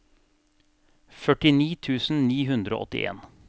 førtini tusen ni hundre og åttien